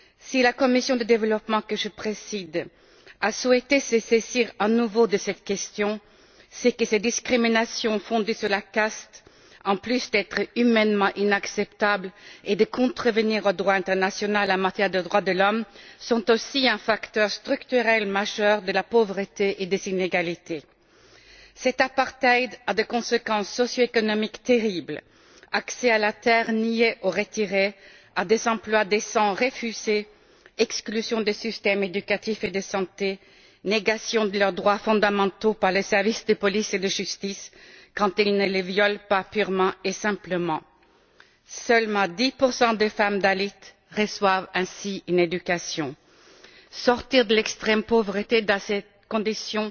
Si la commission du développement, que je préside, a souhaité se saisir à nouveau de cette question, c'est que ces discriminations fondées sur la caste, en plus d'être humainement inacceptables et de contrevenir au droit international en matière de droits de l'homme, sont aussi un facteur structurel majeur de la pauvreté et des inégalités. Cet apartheid a des conséquences socio économiques terribles accès à la terre nié ou retiré, à des emplois décents refusé, exclusion des systèmes éducatifs et de santé, négation de leurs droits fondamentaux par les services de police et de justice quand ces derniers ne les violent pas purement et simplement. Seulement 10 des femmes dalits reçoivent ainsi une éducation. Sortir de l'extrême pauvreté, dans ces conditions,